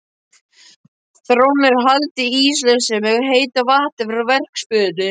Þrónni er haldið íslausri með heitu vatni frá verksmiðjunni.